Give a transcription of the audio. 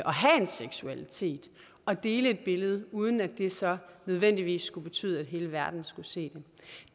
seksualitet og dele et billede uden at det så nødvendigvis skulle betyde at hele verden skulle se